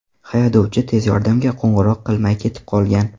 Haydovchi tez yordamga qo‘ng‘iroq qilmay ketib qolgan.